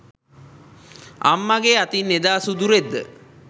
අම්මගෙ අතින් එදා සුදු රෙද්ද